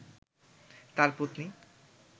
তার পত্নী